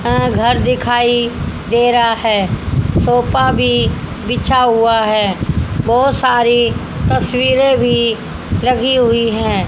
अह घर दिखाई दे रहा है सोफा भी बिछा हुआ है बहुत सारी तस्वीरें भी लगी हुई है।